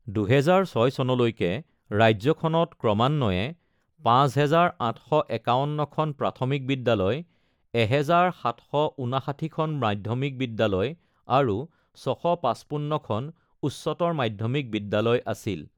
২০০৬ চনলৈকে, ৰাজ্যখনত ক্ৰমান্বয়ে ৫৮৫১খন প্ৰাথমিক বিদ্যালয়, ১৭৫৯খন মাধ্যমিক বিদ্যালয় আৰু ৬৫৫খন উচ্চতৰ মাধ্যমিক বিদ্যালয় আছিল।